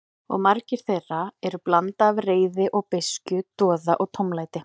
Og margar þeirra eru blanda af reiði og beiskju, doða og tómlæti.